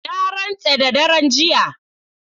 Na rantse da daren jiya.